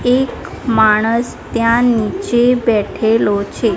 એક માણસ ત્યાં નીચે બેઠેલો છે.